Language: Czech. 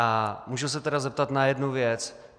A můžu se tedy zeptat na jednu věc?